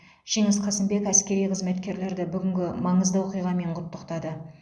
жеңіс қасымбек әскери қызметкерлерді бүгінгі маңызды оқиғамен құттықтады